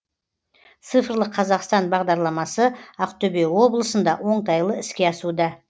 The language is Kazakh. цифрлық қазақстан бағдарламасы ақтөбе облысында оңтайлы іске асуда